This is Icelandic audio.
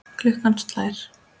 Klukkan slær.